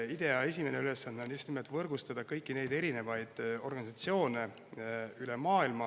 IDEA esimene ülesanne on just nimelt võrgustada kõiki neid erinevaid organisatsioone üle maailma.